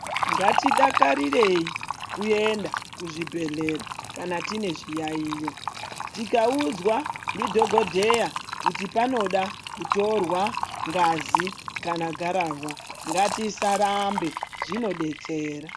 Ngatidakarirei kuenda kuzvibhehleya kana tine zviyayiyo tikaudzwa ndidhokodheya kuti panoda kutorwa ngazi kana gararwa ngatisarambe zvinodetsera.